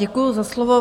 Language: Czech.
Děkuji za slovo.